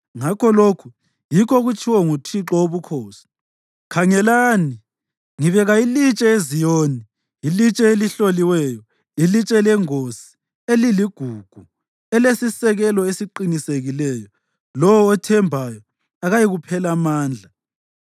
Ngakho lokhu yikho okutshiwo nguThixo woBukhosi: “Khangelani, ngibeka ilitshe eZiyoni, ilitshe elihloliweyo, ilitshe lengosi eliligugu; elesisekelo esiqinisekileyo, lowo othembayo akayikuphela amandla.